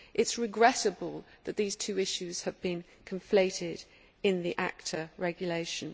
It is regrettable that these two issues have been conflated in the ACTA regulation.